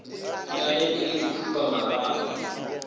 ka ge e le dikhupamarama